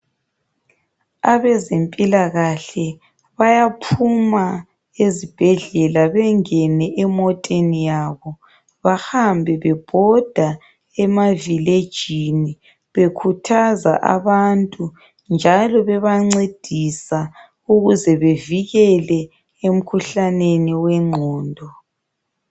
Abezempilakahle bayaphuma ezibhedlela bengene emoteni yabo, bahambe bebhoda emavilejini bekhuthaza abantu njalo bebancedisa ukuze bevikele emkhuhlaneni wengqondo.